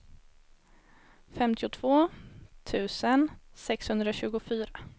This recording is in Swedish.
femtiotvå tusen sexhundratjugofyra